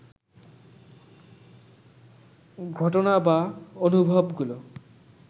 ঘটনা বা অনুভবগুলো